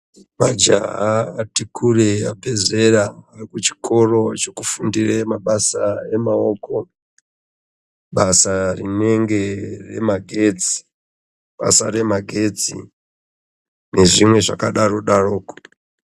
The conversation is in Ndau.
Majaha ati kureyi abve zera rekuchikora chekufundira mabasa emaoko, basa rinenge remagetsi. Basa remagetsi nezvimwe zvakadaro daroko.